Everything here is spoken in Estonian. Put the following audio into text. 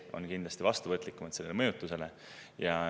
Nad on kindlasti vastuvõtlikumad sellele mõjutusele.